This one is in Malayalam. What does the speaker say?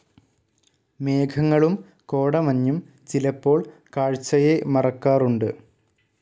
മേഘങ്ങളും കോടമഞ്ഞും ചിലപ്പോൾ കാഴ്ചയെ മറക്കാറുണ്ട്.